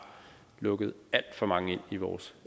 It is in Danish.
lukket alt for mange ind i vores